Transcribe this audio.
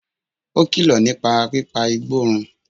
Ó kìlọ̀ nípa pípa igbó run